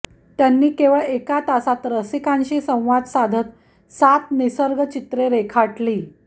त्यांनी केवळ एका तासात रसिकांशी संवाद साधत सात निसर्गचित्रे रेखाटली